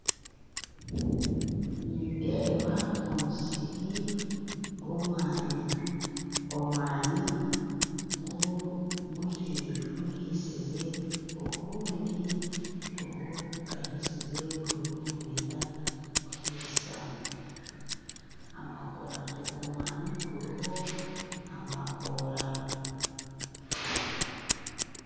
Nindeeba omusiri gw'omwani omwani guhisize ogundi tigukahaisize gurimu nigwenda kuhaisa omwani guriho amakoora.